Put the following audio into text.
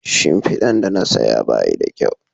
Shimfidan da na saya Bai da kyau